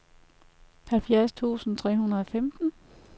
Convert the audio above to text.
halvfjerds tusind tre hundrede og femten